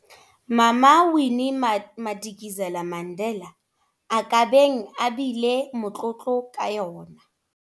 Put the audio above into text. Mama Winnie Madikizela-Mandela a ka beng a bile motlotlo ka yona.